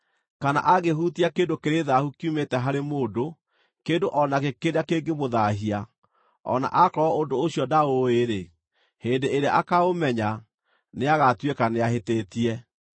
“ ‘Kana angĩhutia kĩndũ kĩrĩ thaahu kiumĩte harĩ mũndũ, kĩndũ o nakĩ kĩrĩa kĩngĩmũthaahia, o na akorwo ũndũ ũcio ndaũũĩ-rĩ, hĩndĩ ĩrĩa akaaũmenya, nĩagatuĩka nĩahĩtĩtie.